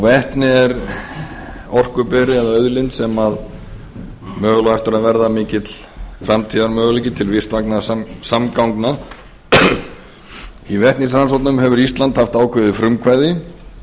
vetni er orkuberi eða auðlind sem á möguelga eftir að verða mikill framtíðarmöguleiki til vistvænna samgangna í vetnisrannsóknum hefur ísland haft ákveðið frumkvæði